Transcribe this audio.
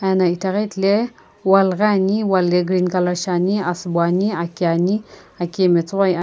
ano ithaghi theli wall ghi ane wall ye green colour shi ane asubo ane aki ane aki ye matsoghoi ame.